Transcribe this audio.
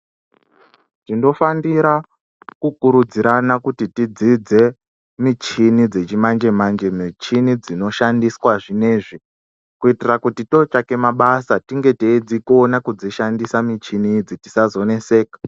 Tinofanira kukurudzirana kuti tidzidze michini dzechimanje-manje michini dzinoshandiswa zvinezvi, kuitira kuti totsvake mabasa, tinge teidzikona kudzishandisa michini idzi, tisazoneseka.